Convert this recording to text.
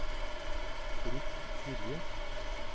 Britt Gilje